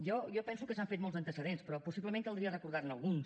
jo penso que s’han fet molts antecedents però possiblement caldria recordar ne alguns